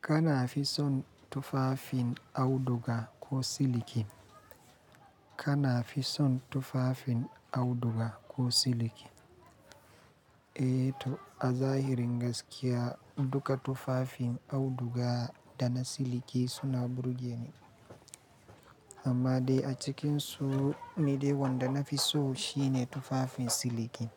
Kana fi son tufafin auduga ko siliki? Kana fi son tufafin auduga ko siliki? Eh to, a zahirin gaskiya duka tufafin auduga da na siliki suna burge ni. Amma dai a cikinsu ni dai wanda na fi so shine tufafin siliki.